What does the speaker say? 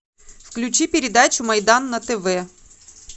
включи передачу майдан на тв